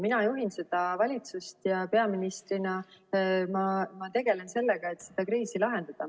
Mina juhin seda valitsust ja peaministrina ma tegelen sellega, et seda kriisi lahendada.